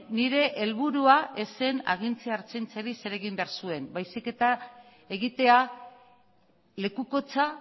nire helburua ez zen agintzea ertzaintzari zer egin behar zuen baizik eta egitea lekukotza